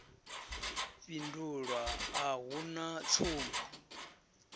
fhindulwa a hu na tsumbo